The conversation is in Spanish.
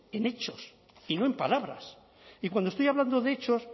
en hechos y no en palabras y cuando estoy hablando de hechos